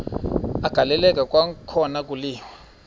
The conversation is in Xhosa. agaleleka kwakhona kwaliwa